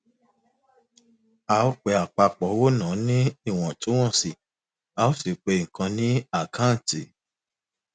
a ó pe àpapọ owónàá ní ìwòntúnwònsì a ó sì pe nkan ní àkáǹtì